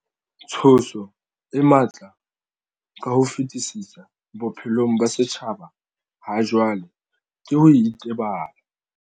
Tshoso e matla ka ho fetisisa bophelong ba setjhaba hajwale ke ho itebala.